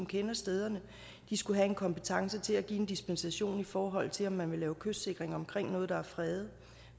kender stederne skulle have en kompetence til at give en dispensation i forhold til om man vil lave kystsikring omkring noget der er fredet